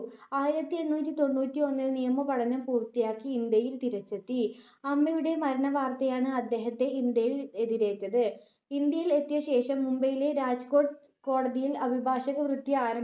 ആയിരത്തി എണ്ണൂറ്റി തൊണ്ണൂറ്റി ഒന്നിൽ നിയമപഠനം പൂർത്തിയാക്കി ഇന്ത്യയിൽ തിരിച്ചെത്തി. അമ്മയുടെ മരണവാർത്തയാണ് അദ്ദേഹത്തെ ഇന്ത്യയിൽ എതിരേറ്റത്. ഇന്ത്യയിൽ എത്തിയ ശേഷം മുംബയിലെ രാജ്‌കോട്ട് കോടതിയിൽ അഭിഭാഷക വൃത്തി